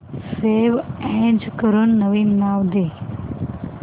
save as करून नवीन नाव दे